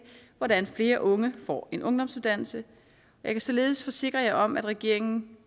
hvordan flere unge får en ungdomsuddannelse jeg kan således forsikre jer om at regeringen